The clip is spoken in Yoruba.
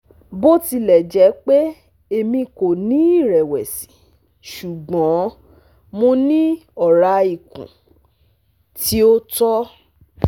bo tilẹ jẹ pe Emi ko ni irẹwẹsi ṣugbọn Mo ni ọra ikun ti o tọ